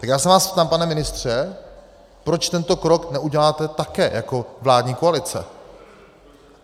Tak já se vás ptám, pane ministře, proč tento krok neuděláte také jako vládní koalice?